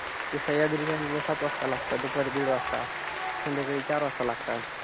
ते सह्याद्रीच्या news सात वाजता लागतात, दुपारी दिड वाजता. संध्याकाळी चार वाजता लागतात.